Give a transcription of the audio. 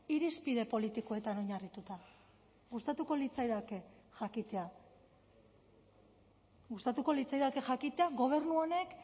irizpide politikoetan oinarrituta gustatuko litzaidake jakitea gustatuko litzaidake jakitea gobernu honek